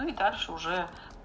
и дальше уже